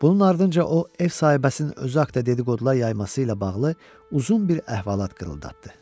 Bunun ardınca o, ev sahibəsinin özü haqqında dedi-qodular yayması ilə bağlı uzun bir əhvalat qırıldatdı.